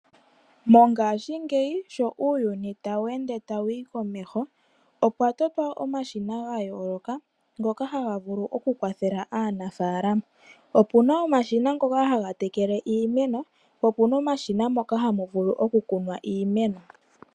Mongashingeyi sho uuyuni tawu ende tawu yi komeho, opwa totwa omashina ga yooloka, ngoka haga vulu oku kwathela aanafalama. Opuna omashina ngoka haga tekele iimeno, ko okuna omashina moka tamu vulu oku kunwa iimeno.